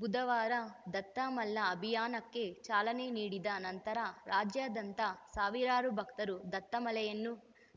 ಬುಧವಾರ ದತ್ತಮಾಲಾ ಅಭಿಯಾನಕ್ಕೆ ಚಾಲನೆ ನೀಡಿದ ನಂತರ ರಾಜ್ಯಾದ್ಯಂತ ಸಾವಿರಾರು ಭಕ್ತರು ದತ್ತಮಾಲೆಯನ್ನು